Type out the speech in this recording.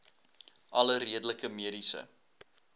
alle redelike mediese